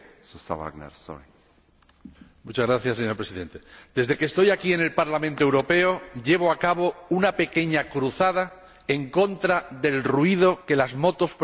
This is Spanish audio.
Señor Presidente, desde que estoy en el Parlamento Europeo vengo llevando a cabo una pequeña cruzada contra el ruido que las motos producen con el llamado escape libre.